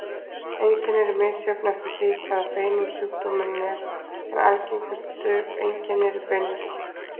Einkenni eru misjöfn eftir því í hvaða beinum sjúkdómurinn er, en algengustu einkenni eru beinverkir.